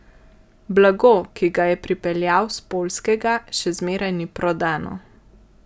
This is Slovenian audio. Blago, ki ga je pripeljal s Poljskega, še zmeraj ni prodano.